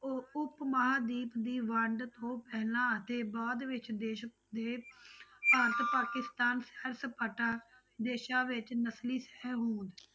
ਉਹ ਉਪ ਮਹਾਂਦੀਪ ਦੀ ਵੰਡ ਤੋਂ ਪਹਿਲਾਂ ਅਤੇ ਬਾਅਦ ਵਿੱਚ ਦੇਸ ਦੇ ਭਾਰਤ ਪਾਕਿਸਤਾਨ ਸੈਰ ਸਪਾਟਾ ਦੇਸਾਂ ਵਿੱਚ ਨਸ਼ਲੀ ਸਹਿਹੋਂਦ।